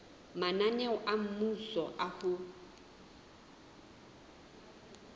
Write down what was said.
mananeo a mmuso a ho